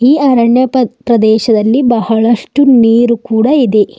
ಈ ಅರಣ್ಯ ಪ ಪ್ರದೇಶದಲ್ಲಿ ಬಹಳಷ್ಟು ನೀರು ಕೂಡ ಇದೆ.